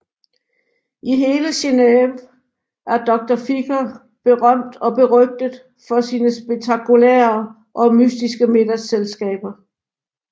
I hele Genéve er Doctor Ficher berømt og berygtet for sine spektakulære og mystiske middagsselskaber